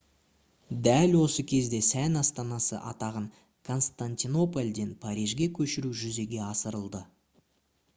дәл осы кезде сән астанасы атағын константинопольден парижге көшіру жүзеге асырылды